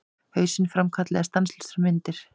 Hausinn framkallaði stanslausar myndir.